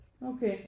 Okay